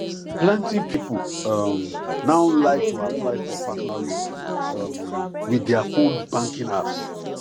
plenty people um now like to apply for personal loan um with their fone banking apps